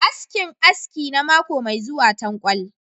askinAski na mako mai zuwa tankwal.